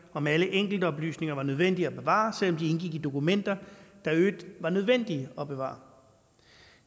om alle enkeltoplysninger var nødvendige at bevare selv om indgik i dokumenter der i øvrigt var nødvendige at bevare